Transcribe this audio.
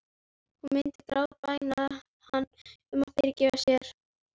Hún myndi grátbæna hann um að fyrirgefa sér.